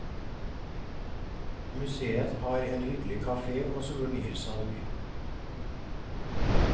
Museet har en hyggelig kafe og souvenirsalg.